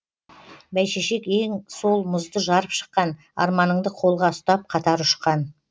бәйшешек ең сол мұзды жарып шыққан арманыңды қолға ұстап қатар ұшқан